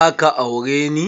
Za ka aure ne?